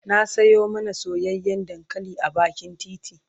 na Sayo mana soyayyan dankali a bakin titi